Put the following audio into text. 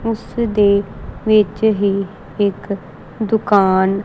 ਉਸਦੇ ਵਿੱਚ ਹੀ ਇੱਕ ਦੁਕਾਨ--